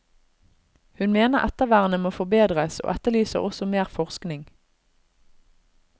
Hun mener ettervernet må forbedres og etterlyser også mer forskning.